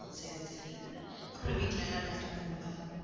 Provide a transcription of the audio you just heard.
சரி சரி அப்புறம் வீட்ல எல்லாம் நல்லா இருக்காங்களா